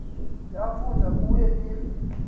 yafunza kuye if